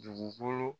Dugukolo